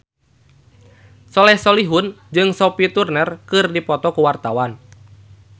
Soleh Solihun jeung Sophie Turner keur dipoto ku wartawan